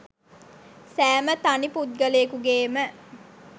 සෑම තනි පුද්ගලයෙකුගේම